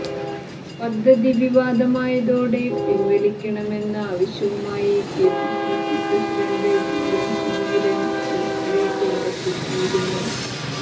പദ്ധതി വിവാദമായതോടെ പിൻവലിക്കണമെന്ന ആവശ്യവുമായി കെപിസിസി പ്രസിഡന്റ് വി എം സുധീരൻ ഉൾപ്പെടെ രംഗത്തെത്തിയിരുന്നു